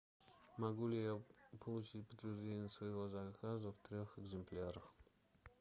могу ли я получить подтверждение своего заказа в трех экземплярах